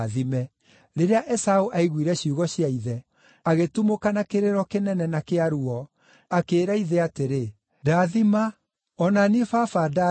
Rĩrĩa Esaũ aiguire ciugo cia ithe, agĩtumũka na kĩrĩro kĩnene na kĩa ruo, akĩĩra ithe atĩrĩ, “Ndaathima! O na niĩ baba ndaathima!”